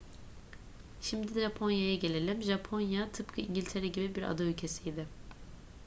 şimdi japonya'ya gelelim. japonya tıpkı i̇ngiltere gibi bir ada ülkesiydi